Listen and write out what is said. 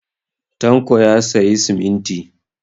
Tanko ya sayi siminti.